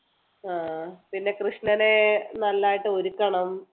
അഹ് പിന്നെ കൃഷ്ണനെ നല്ലതായിട്ട് ഒരുക്കണം